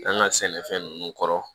An ka sɛnɛfɛn ninnu kɔrɔ